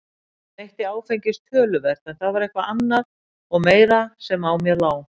Ég neytti áfengis töluvert en það var eitthvað annað og meira sem á mér lá.